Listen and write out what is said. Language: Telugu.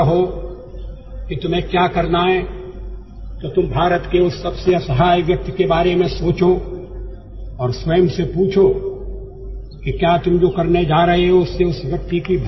మహాత్మ గాంధీ సూత్రం ఏమిటంటే ఎవరికైనా ఏదైనా పని చేయాలా వద్దా అనే విషయం లో ఎప్పుడైనా గందరగోళం ఉంటే అతను భారతదేశపు అత్యంత నిరు పేద నిస్సహాయ వ్యక్తి ని గురించి ఆలోచించాలి